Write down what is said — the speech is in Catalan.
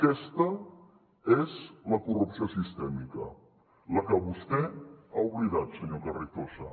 aquesta és la corrupció sistèmica la que vostè ha oblidat senyor carrizosa